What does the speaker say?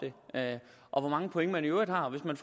det og hvor mange point man i øvrigt har hvis man